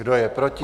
Kdo je proti?